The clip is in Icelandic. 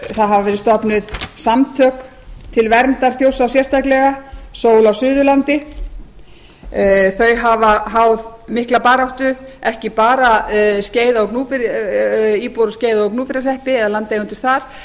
það hafa verið stofnuð samtök til verndar þjórsá sérstaklega sól á suðurlandi þau hafa háð mikla baráttu ekki bara íbúar í skeiða og gnúpverjahreppi eða landeigendur þar